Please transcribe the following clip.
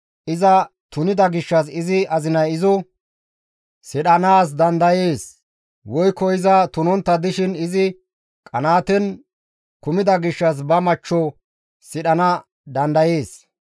iza tunida gishshas izi azinay izo sidhanaas dandayees; woykko iza tunontta dishin izi qanaaten kumida gishshas ba machcho sidhana dandayees.